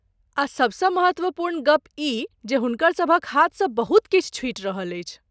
आ सबसँ महत्वपूर्ण गप ई जे हुनकरसभक हाथसँ बहुत किछु छुटि रहल अछि।